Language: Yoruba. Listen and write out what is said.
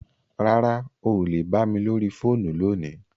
Rárá, o lè bà mi lórí fóònù lóní.